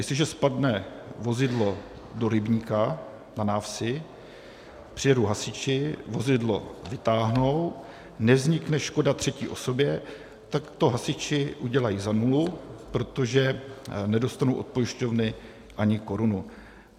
Jestliže spadne vozidlo do rybníka na návsi, přijedou hasiči, vozidlo vytáhnou, nevznikne škoda třetí osobě, tak to hasiči udělají za nulu, protože nedostanou od pojišťovny ani korunu.